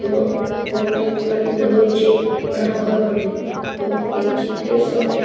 এবং বন্যায় প্লাবিত হয়েছে অনেক ঘর বাড়ি এবং এই চিত্রের সামনে --